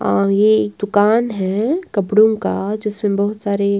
और ये एक दुकान है कपड़ों का जिसमें बहुत सारे--